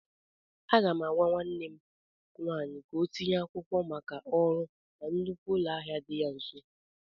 Aga m agwa nwanne m nwaanyị ka ọ tinye akwụkwọ maka ọrụ na nnukwu ụlọ ahịa dị ya nso.